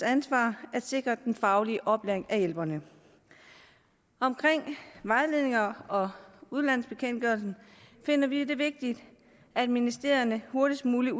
ansvar at sikre den faglige oplæring af hjælperne omkring vejledninger og udlandsbekendtgørelsen finder vi det vigtigt at ministerierne hurtigst muligt